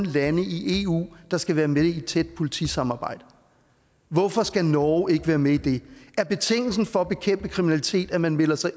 lande i eu der skal være med i et tæt politisamarbejde hvorfor skal norge ikke være med i det er betingelsen for at bekæmpe kriminalitet at man melder sig